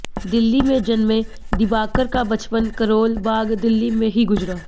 दिल्ली में जन्में दिबाकर का बचपन करोल बाग दिल्ली में ही गुजरा